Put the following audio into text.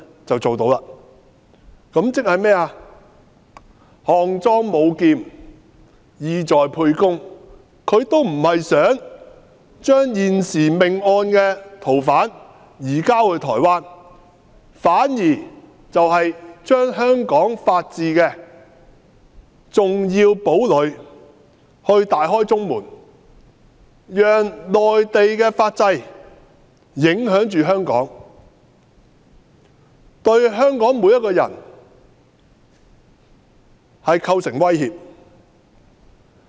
這是"項莊舞劍，意在沛公"，政府不想把現時命案的逃犯移交到台灣，反而想令香港法治的重要堡壘中門大開，讓內地的法制影響香港，對香港每個人構成威脅。